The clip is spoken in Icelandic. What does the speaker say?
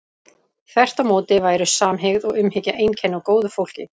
þvert á móti væru samhygð og umhyggja einkenni á góðu fólki